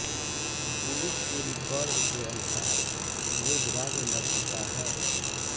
police के record के अनुसार योगराज मर चुका है